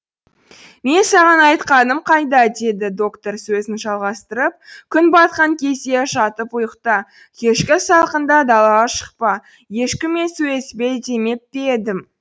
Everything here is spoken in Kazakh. мен саған айтқаным қайда деді доктор сөзін жалғастырып күн батқан кезде жатып ұйықта кешкі салқында далаға шықпа ешкіммен сөйлеспе демеп пе едім